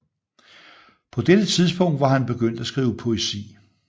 På dette tidspunkt var han begyndt at skrive poesi